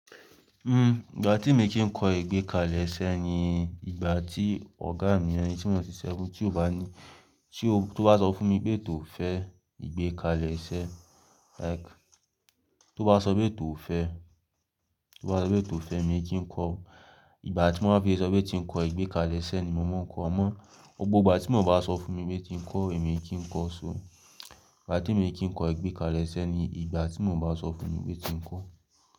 Hmm, ìgbà tí mo kì ń kọ́ ìgbékalẹ̀ṣẹ́ ni ìgbà tí ọ̀gá mi ni ẹni tí mo ti ń ṣiṣẹ́ fún, tí ó bá ní, tí ó bá sọ fún mi pé tó fẹ́ ìgbékalẹ̀ṣẹ́, like tó bá sọ pé tó fẹ́, tó bá sọ pé tó fẹ́ mo kí ń kọ. Ìgbà tí wọ́n bá fẹ́ sọ pé tí ń kọ ìgbékalẹ̀ṣẹ́ ni mo máa ń kọ, àmọ́ gbogbo ìgbà tí wọ́n bá sọ fún mi pé tí ń kọ èmi kì í kọ ó so. Ìgbà tí mo kì ń kọ ìgbékalẹ̀ṣẹ́ ni ìgbà tí wọ́n bá sọ fún mi pé tí ń kọ.